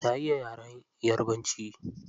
Na iya yaren yarabanci.